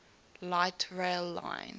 light rail line